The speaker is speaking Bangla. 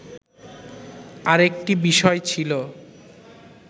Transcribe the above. আরেকটি বিষয় ছিল